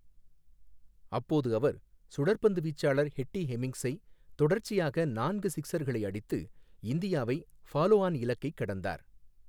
அப்போது அவர் சுழற்பந்து வீச்சாளர் எட்டி ஹெமிங்ஸை தொடர்ச்சியாக நான்கு சிக்ஸர்களை அடித்து இந்தியாவை ஃபாலோ ஆன் இலக்கைக் கடந்தார்.